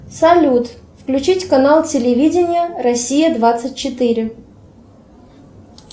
салют включить канал телевидение россия двадцать четыре